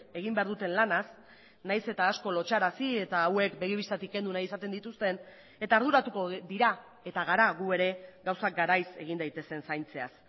egin behar duten lanaz nahiz eta asko lotsarazi eta hauek begi bistatik kendu nahi izaten dituzten eta arduratuko dira eta gara gu ere gauzak garaiz egin daitezen zaintzeaz